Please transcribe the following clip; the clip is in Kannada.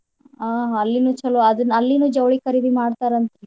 ಹ ಅಲ್ಲಿನೂ ಚೊಲೋ ಅದ್ನ ಅಲ್ಲಿನೂ ಜವ್ಳಿ ಖರೀದಿ ಮಾಡ್ತಾರಂತ್ರಿ